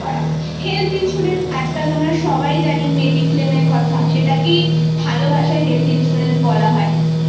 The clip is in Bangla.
health insurance আজকাল আমরা সবাই সবাই জানি mediclaime এর কথা সেটাকেই ভালো ভাষায় health insurance বলা হয়